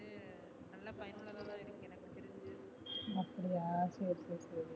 அப்படியா சரி சரி